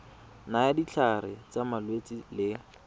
nayang ditlhare tsa malwetse le